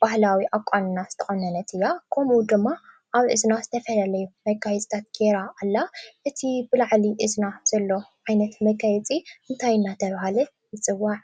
ባህላዊ ኣቋንና ዝተቆነነት እያ። ከምኡ ውን ድማ ኣብ እዝና ዝተፈላለየ መጋየፂታት ጌራ ኣላ። እቲ ብላዕሊ እዝና ዘሎ ዓይነት መጋየፂ እንታይ እናተባህለ ይፅዋዕ?